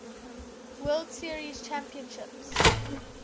world series championships